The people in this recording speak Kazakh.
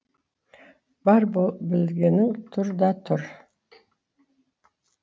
бар білгенің тұр да тұр